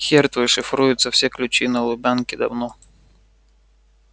хер твой шифруется все ключи на лубянке давно